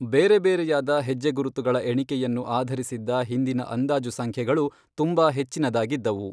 ಬೇರೆಬೇರೆಯಾದ ಹೆಜ್ಜೆಗುರುತುಗಳ ಎಣಿಕೆಯನ್ನು ಆಧರಿಸಿದ್ದ ಹಿಂದಿನ ಅಂದಾಜು ಸಂಖ್ಯೆಗಳು ತುಂಬಾ ಹೆಚ್ಚಿನದಾಗಿದ್ದವು.